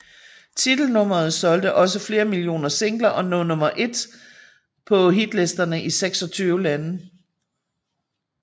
Titelnummeret solgte også flere millioner singler og lå nummer 1 på hitlisterne i 26 lande